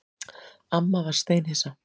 Amma var steinhissa.